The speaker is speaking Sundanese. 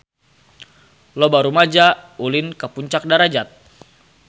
Loba rumaja ulin ka Puncak Darajat